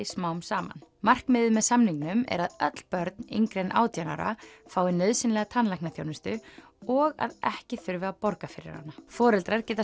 smám saman markmiðið með samningnum er að öll börn yngri en átján ára fái nauðsynlega tannlæknaþjónustu og að ekki þurfi að borga fyrir hana foreldrar geta